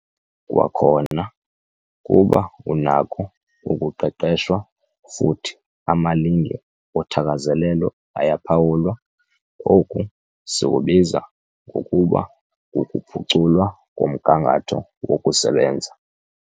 Kwakhona, kuba unakho ukuqeqeshwa futhi amalinge othakazelelo ayaphawulwa- Oku sikubiza ngokuba kukuphuculwa komgangatho wokusebenza.